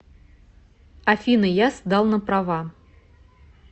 афина я сдал на права